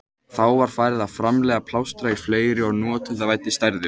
Þá var farið að framleiða plástra í fleiri og notendavænni stærðum.